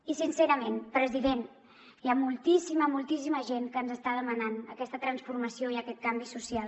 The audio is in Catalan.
i sincerament president hi ha moltíssima moltíssima gent que ens està demanant aquesta transformació i aquest canvi social